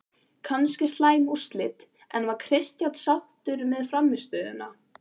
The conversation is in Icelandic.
Kannski slæm úrslit, en var Kristján sáttur með frammistöðuna?